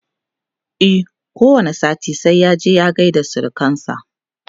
e ko wani sati sai ya je ya gaida surukansa